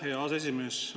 Aitäh, hea aseesimees!